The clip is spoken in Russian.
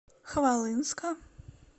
хвалынска